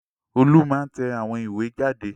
Olú máa ń tẹ àwọn ìwé jáde.